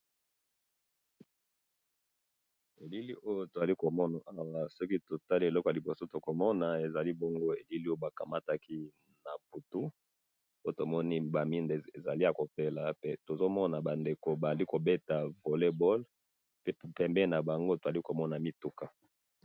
na bilili oyo tozali komona awa soki totali eloko ya liboso tokomona ezali bongo elili oyo bakangaki na butu po tomoni ezali ba mwinda ezali ya kopela pe bazo beta volley ballpembeni nabango tozali komona ba mituka.